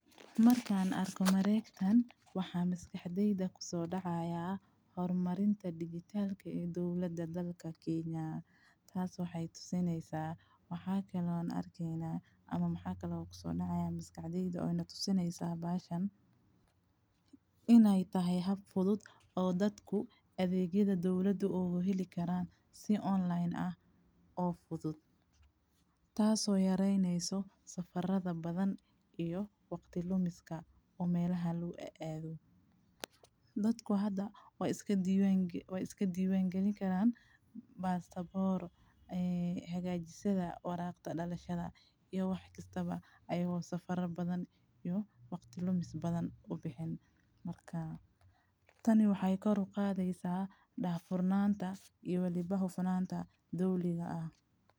Markaan arko Mareektan, waxaa maskaxdeyda ku soo dhacaya horumarinta digitaalka ee duulada dalka Kenya. Taas waxay tusinaysaa waxaa kaloo arkeyna ama maxaa kaloo ku soo dhacaya maskaxdeeda oo inaad u tusinaysaa baashan inay tahay hab fudud oo dadku adeegyada duuladu u heli karaan si online ah oo fudud, taas oo yareeyneyso safarada badan iyo waqti lumiska oo meelaha lu ah aa du. Dadku hadda waa iska diyaang, waa iska diyaangeli karaan baasababoor ay heegaajisada waraaqta dhalashada iyo wax kastaba ayagoo safara badan iyo waqti lumis badan u bixin markaa. Tani waxay koor uqaadeysaa dhafulnaanta iyo liba hubunaanta dawliga ah.